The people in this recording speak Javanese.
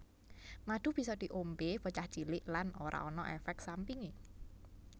Madu bisa diombé bocah cilik lan ora ana éfék sampingé